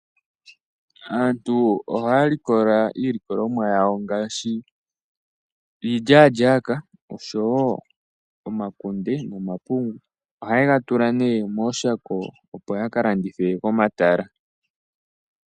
Aantu oha likola iilikolomwa yawo ngashi iilyalyaka osho wo omakunde nomapungu, oha yegatula ne meshako opo yakalandithe komatala.